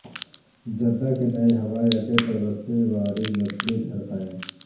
Jeddah کے نئے ہوائی اڈے پر وسیع و عریض مچھلی گھر قائم